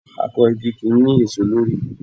Akọ igi kì í ní èso lórí.